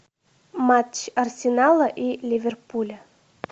матч арсенала и ливерпуля